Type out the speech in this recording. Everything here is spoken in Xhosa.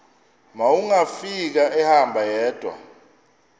wawungafika ehamba yedwa